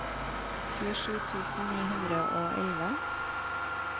tjuesju tusen ni hundre og elleve